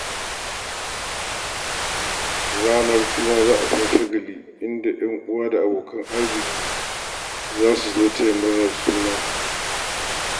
Ranar suna za a sha shagali, inda 'yan uwa da abokanan arziki za su zo so taya murnar haihuwa.